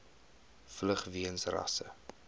vlug weens rasse